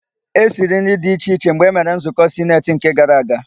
E siri nri dị iche iche mgbe emere nzụkọ sineti nke gara gara.